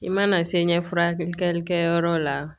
I mana se ɲɛfiyɛlikɛ yɔrɔ la